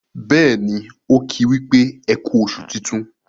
béèni o ki wípé eku oṣù tintun.